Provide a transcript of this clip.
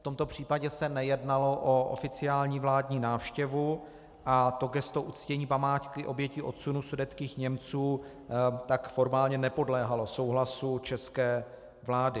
V tomto případě se nejednalo o oficiální vládní návštěvu a to gesto uctění památky obětí odsunu sudetských Němců tak formálně nepodléhalo souhlasu české vlády.